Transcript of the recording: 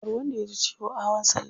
Kar wanda yaji ciwo a hawan salla.